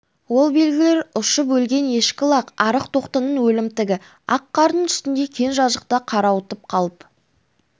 ол белгілер ұшып өлген ешкі лақ арық тоқтының өлімтігі ақ қардың үстінде кең жазықта қарауытып қалып